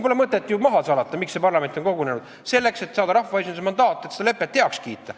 Pole mõtet ju maha salata, miks parlament on kogunenud: selleks, et saada rahvaesinduse mandaat, et see lepe heaks kiita.